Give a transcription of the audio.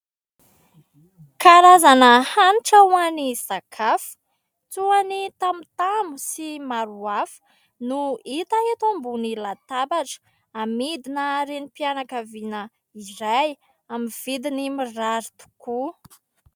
Karazana hanitra ho an'ny sakafo toa ny tamotamo sy maro samihafa no hita eto ambony latabatra, amidina Renim-pianakaviana iray amin'ny vidiny mirary tokoa.